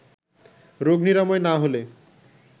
রোগ নিরাময় না হলে